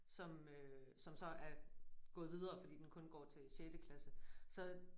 Som øh som så er gået videre fordi den kun går til sjette klasse så